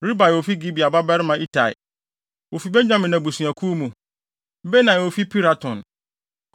Ribai a ofi Gibea babarima Itai (wofi Benyamin abusuakuw mu); Benaia a ofi Piraton;